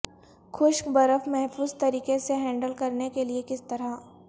خشک برف محفوظ طریقے سے ہینڈل کرنے کے لئے کس طرح